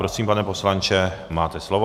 Prosím, pane poslanče, máte slovo.